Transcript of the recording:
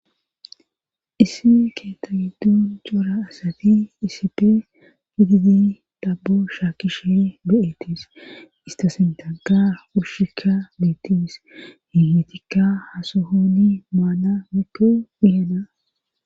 isi keetagidon cora asati iisipe gididi daabo shaakishe be7ettis istasintaga ushikka beettis hingetikka hasohoni maana mikko bihena